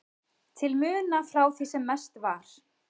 til muna frá því sem mest var.